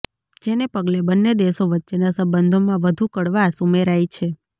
જેને પગલે બન્ને દેશો વચ્ચેના સંબંધોમાં વધુ કડવાશ ઉમેરાઈ છે